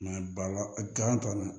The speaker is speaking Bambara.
t'a la